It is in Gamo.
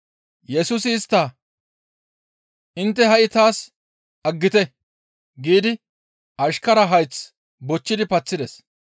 Yesusi istta, «Intte ha7i taas aggite!» giidi ashkaraza hayth bochchidi paththides.